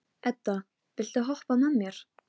Þegar ég sá táknin á blaðinu var mér brugðið.